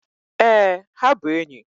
Ee, ha bụ enyi